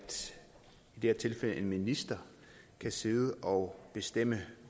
her tilfælde kan en minister sidde og bestemme